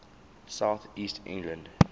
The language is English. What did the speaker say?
south east england